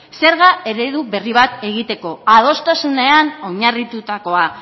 zerga eredu berri bat egiteko adostasunean oinarritutakoa